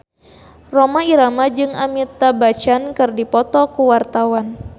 Rhoma Irama jeung Amitabh Bachchan keur dipoto ku wartawan